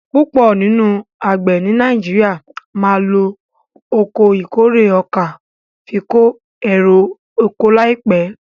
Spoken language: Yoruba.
púpọ nínú àgbè ní Nàìjíríà má ló Ọkọ̀ ìkórè ọkà fí ko ero ọkọ̀ láìpé.